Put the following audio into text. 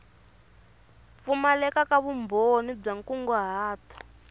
pfumaleka ka vumbhoni bya nkunguhato